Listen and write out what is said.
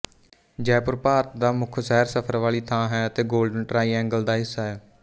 ਜੈਪੁਰ ਭਾਰਤ ਦਾ ਮੁੱਖ ਸੈਰ ਸਫਰ ਵਾਲੀ ਥਾਂ ਹੈ ਅਤੇ ਗੋਲਡਨ ਟ੍ਰਾਈਏਂਗਲ ਦਾ ਹਿੱਸਾ ਹੈ